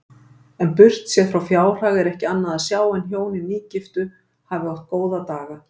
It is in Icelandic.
En burtséð frá fjárhag er ekki annað sjá en hjónin nýgiftu hafi átt góða daga.